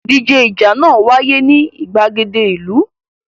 Ìdíje ìjà náà wáyé ní ìgbàgede ìlú.